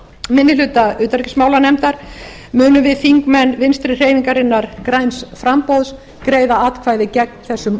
minni hluta utanríkismálanefndar munum við þingmenn vinstri hreyfingarinnar græns framboðs greiða atkvæði gegn þessum